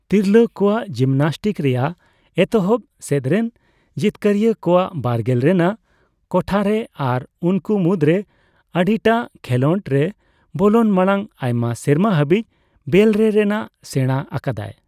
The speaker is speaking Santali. ᱛᱤᱨᱞᱟᱹ ᱠᱚᱣᱟᱜ ᱡᱤᱢᱱᱟᱥᱴᱤᱠᱥ ᱨᱮᱭᱟᱜ ᱮᱛᱚᱦᱚᱵ ᱥᱮᱫᱨᱮᱱ ᱡᱤᱛᱠᱟᱹᱨᱤᱭᱟᱹ ᱠᱚᱣᱟᱜ ᱵᱟᱨᱜᱮᱞ ᱨᱮᱱᱟᱜ ᱠᱳᱴᱷᱟᱨᱮ ᱟᱨ ᱩᱱᱠᱩ ᱢᱩᱫᱽᱨᱮ ᱟᱹᱰᱤᱴᱟᱜ ᱠᱷᱮᱞᱚᱸᱰᱨᱮ ᱵᱚᱞᱚᱱ ᱢᱟᱲᱟᱝ ᱟᱭᱢᱟ ᱥᱮᱨᱢᱟ ᱦᱟᱹᱵᱤᱡ ᱵᱮᱞᱨᱮ ᱨᱮᱱᱟᱜ ᱥᱮᱬᱟ ᱟᱠᱟᱫᱟᱭ ᱾